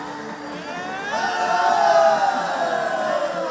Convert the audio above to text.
Qarabağ!